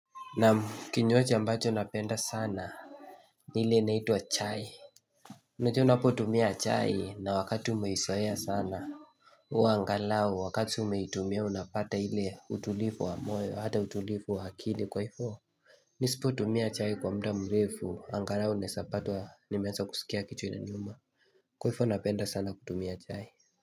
Naam kinywaji ambacho napenda sana ile inaitwa chai Unajua unapo tumia chai na wakati umeizoea sana huwa angalau wakati umeitumia unapata ile utulivu wa moyo hata utulivu wa akili kwa hivo Nisipo tumia chai kwa muda mrefu angalau nazapatwa nimeanza kusikia kichwa inaniuma Kwa hivo napenda sana kutumia chai.